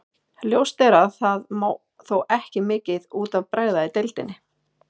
Ljóst er að það má þó ekki mikið út af bregða í deildinni.